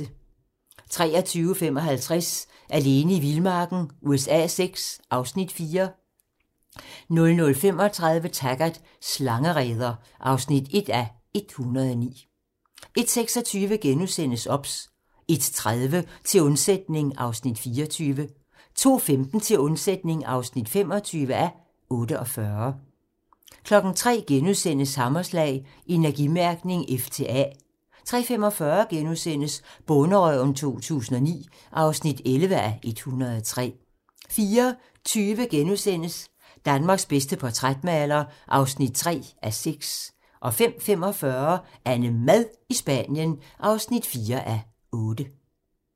23:55: Alene i vildmarken USA VI (Afs. 4) 00:35: Taggart: Slangereder (1:109) 01:26: OBS * 01:30: Til undsætning (24:48) 02:15: Til undsætning (25:48) 03:00: Hammerslag - Energimærkning F til A * 03:45: Bonderøven 2009 (11:103)* 04:20: Danmarks bedste portrætmaler (3:6)* 05:45: AnneMad i Spanien (4:8)